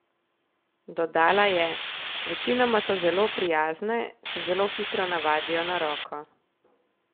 Dodala je: "Večinoma so zelo prijazne, se zelo hitro navadijo na roko.